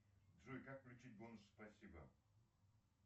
джой как включить бонус спасибо